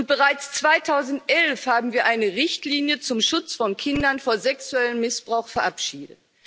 Bereits 2011 haben wir eine Richtlinie zum Schutz von Kindern vor sexuellem Missbrauch verabschiedet.